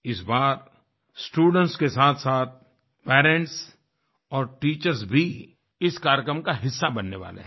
इस बार स्टूडेंट्स के साथसाथ पेरेंट्स और टीचर्स भी इस कार्यक्रम क हिस्सा बनने वाले हैं